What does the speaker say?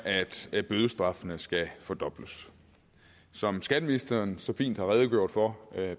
at bødestraffene skal fordobles som skatteministeren så fint har redegjort for